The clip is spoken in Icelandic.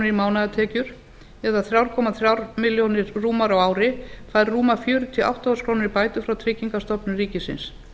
í mánaðartekjur eða þrjú komma þremur milljónum króna rúmar á ári fær rúmar fjörutíu og átta þúsund krónur í bætur frá tryggingastofnun ríkisins